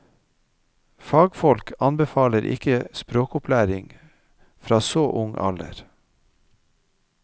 Fagfolk anbefaler ikke språkopplæring fra så ung alder.